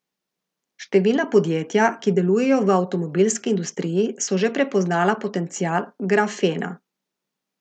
Številna podjetja, ki delujejo v avtomobilski industriji, so že prepoznala potencial grafena.